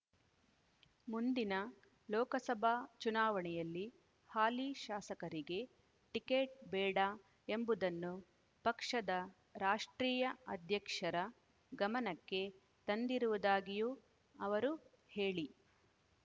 ಮುಂದಿನ ಲೋಕಸಭಾ ಚುನಾವಣೆಯಲ್ಲಿ ಹಾಲಿ ಶಾಸಕರಿಗೆ ಟಿಕೆಟ್ ಬೇಡ ಎಂಬುದನ್ನು ಪಕ್ಷದ ರಾಷ್ಟ್ರೀಯ ಅಧ್ಯಕ್ಷರ ಗಮನಕ್ಕೆ ತಂದಿರುವುದಾಗಿಯೂ ಅವರು ಹೇಳಿ